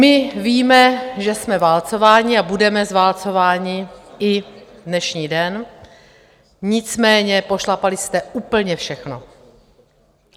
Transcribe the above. My víme, že jsme válcováni a budeme zválcováni i dnešní den, nicméně pošlapali jste úplně všechno.